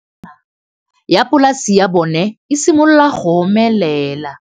Nokana ya polase ya bona, e simolola go omelela.